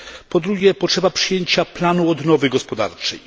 Po drugie, potrzeba przyjęcia planu odnowy gospodarczej.